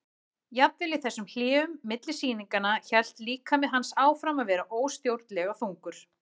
Jafnvel í þessum hléum milli sýnanna hélt líkami hans áfram að vera óstjórnlega þungur.